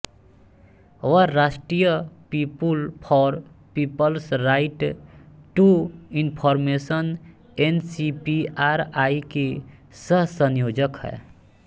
वह राष्ट्रीय people for people's right to information NCPRI की सहसंयोजक है